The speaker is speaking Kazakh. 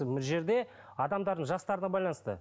бұл жерде адамдардың жастарына байланысты